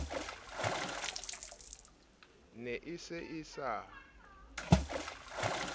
ne e se e sa